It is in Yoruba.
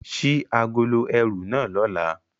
Ṣii agolo ẹru na lọla!